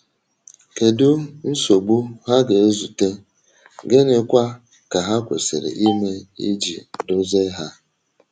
Kedu nsogbu ha ga-ezute, gịnịkwa ka ha kwesịrị ime iji dozie ha?